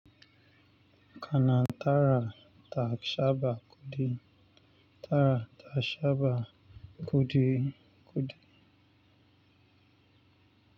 Kana tara ta shaɓa kuɗi, tara ta shaɓa kuɗi, kuɗi.